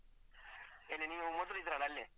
ಎಲ್ಲಿ ನೀವು ಮೊದ್ಲು ಇದ್ರಲ್ಲ ಅಲ್ಲೇ?